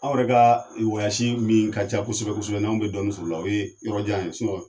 Aw yɛrɛ ka min ka ca kosɛbɛ kosɛbɛ n'anw bɛ dɔɔnin sɔrɔo la o ye yɔrɔjan ye